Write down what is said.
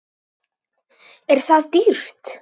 Er það dýrt?